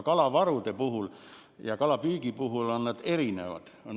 Kalavarude ja kalapüügi puhul on see erinev.